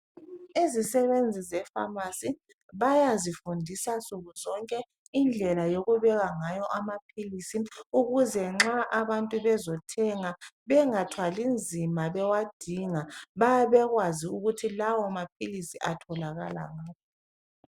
Izisebenzi zepharmacy bayazifundisa nsuku zonke, indlela yokubeka ngayo amaphilisi. Ukuze nxa abantu bezethenga. Bangathwali nzima bewadinga. Bayabe bekwazi ukuthi lawomaphilisi ,atholakala ngaphi.